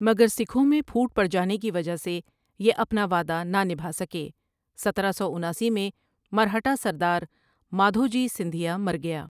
مگر سکھوں میں پھوٹ پڑجانے کی وجہ سے یہ اپنا وعدہ نہ نبھاسکے سترہ سو اناسی میں مرہٹہ سردار مادھوجی سندھیا مرگیا ۔